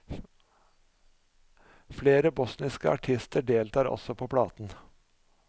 Flere bosniske artister deltar også på platen.